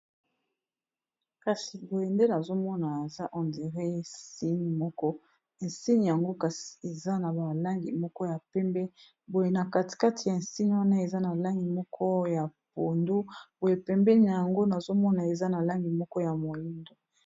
kasi boyendele azomona eza enderé nsine moko ensini yango kasi eza na balangi moko ya pembe boye na katikati ya ensini wana eza na langi moko ya pondu boye pembeni yango nazomona eza na langi moko ya moindo